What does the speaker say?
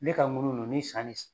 Ne ka ŋunu ninnu ni san ni